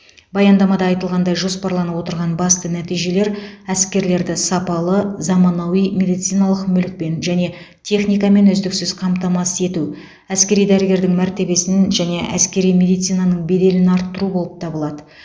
баяндамада айтылғандай жоспарланып отырған басты нәтижелер әскерлерді сапалы заманауи медициналық мүлікпен және техникамен үздіксіз қамтамасыз ету әскери дәрігердің мәртебесін және әскери медицинаның беделін арттыру болып табылады